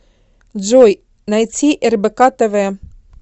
джой найти рбк тв